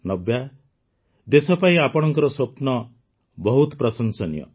ନବ୍ୟା ଦେଶ ପାଇଁ ଆପଣଙ୍କ ସ୍ୱପ୍ନ ବହୁତ ପ୍ରଶଂସନୀୟ